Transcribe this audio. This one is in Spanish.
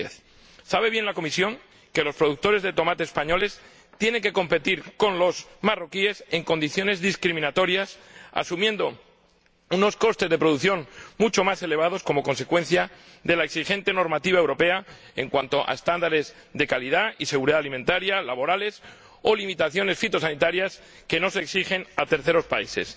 2010. Sabe bien la Comisión que los productores de tomate españoles tienen que competir con los marroquíes en condiciones discriminatorias, asumiendo unos costes de producción mucho más elevados como consecuencia de la exigente normativa europea en cuanto a estándares de calidad y seguridad alimentaria o laborales, o de limitaciones fitosanitarias que no se exigen a terceros países.